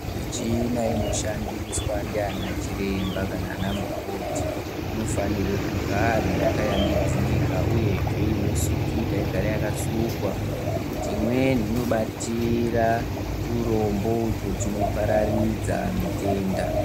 Michina inoshandiswa ndianachiremba kana anamukoti inofanirwe kugara yakashambidzika, uyehe inosukika igare yakasukwa, ngekuti imweni inobatira turombo uto tunopararidza mitenda.